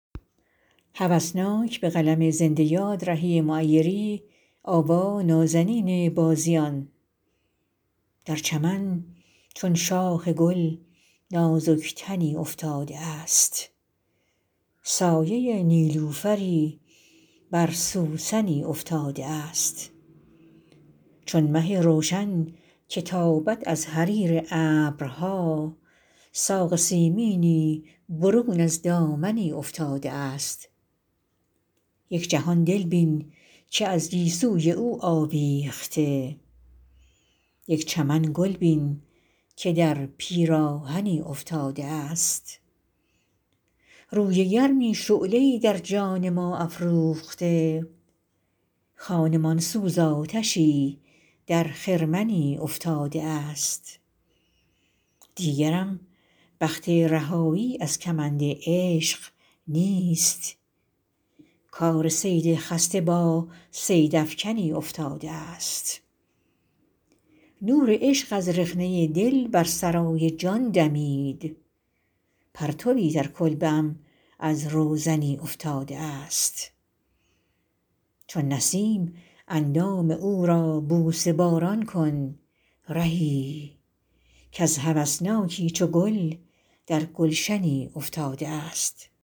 در چمن چون شاخ گل نازک تنی افتاده است سایه نیلوفری بر سوسنی افتاده است چون مه روشن که تابد از حریر ابرها ساق سیمینی برون از دامنی افتاده است یک جهان دل بین که از گیسوی او آویخته یک چمن گل بین که در پیراهنی افتاده است روی گرمی شعله ای در جان ما افروخته خانمان سوز آتشی در خرمنی افتاده است دیگرم بخت رهایی از کمند عشق نیست کار صید خسته با صیدافکنی افتاده است نور عشق از رخنه دل بر سرای جان دمید پرتوی در کلبه ام از روزنی افتاده است چون نسیم اندام او را بوسه باران کن رهی کز هوسناکی چو گل در گلشنی افتاده است